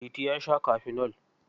Liti ya sha kafinol.